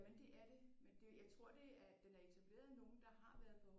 Jamen det er det men det jeg tror det er den er etableret af nogen der har været på